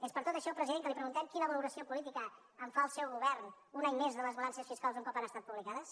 és per tot això president que li preguntem quina valoració política en fa el seu govern un any més de les balances fiscals un cop han estat publicades